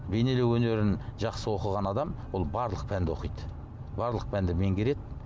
бейнелеу өнерін жақсы оқыған адам ол барлық пәнді оқиды барлық пәнді меңгереді